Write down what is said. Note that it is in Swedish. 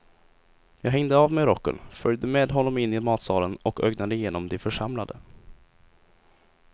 Jag hängde av mig rocken, följde med honom in i matsalen och ögnade igenom de församlade.